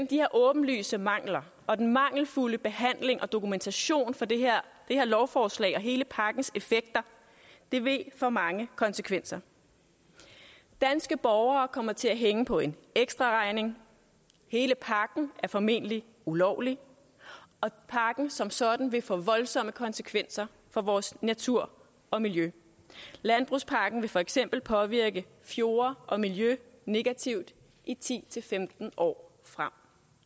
de her åbenlyse mangler og den mangelfulde behandling og dokumentation for det her lovforslag og hele pakkens effekter vil få mange konsekvenser danske borgere kommer til at hænge på en ekstraregning hele pakken er formentlig ulovlig og pakken som sådan vil få voldsomme konsekvenser for vores natur og miljø landbrugspakken vil for eksempel påvirke fjorde og miljø negativt i ti til femten år frem